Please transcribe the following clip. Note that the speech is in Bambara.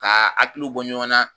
Kaa akiliw bɔ ɲɔnan